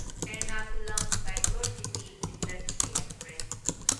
Ernakulam Bangalore city intercity express